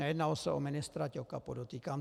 Nejednalo se o ministra Ťoka, podotýkám.